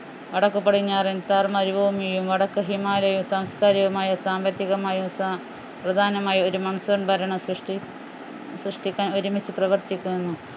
വടക്കു പടിഞ്ഞാറൻ താർ മരുഭൂമിയും വടക്ക് ഹിമാലയം സാംസ്കാരികമായും സാമ്പത്തികമായും സാ പ്രധാനമായും ഒരു monsoon ഭരണസൃഷ്ടി സൃഷ്ടിക്കാൻ ഒരുമിച്ച് പ്രവർത്തിക്കുന്നു